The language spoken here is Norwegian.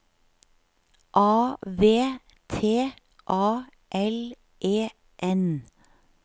A V T A L E N